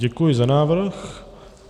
Děkuji za návrh.